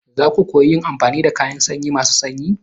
Za su koyi yin amfani da kayan sanyi masu sanyi.